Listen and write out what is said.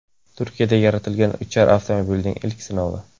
Turkiyada yaratilgan uchar avtomobilning ilk sinovi.